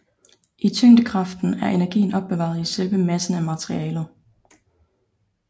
I tyngdekraften er energien opbevaret i selve massen af materialet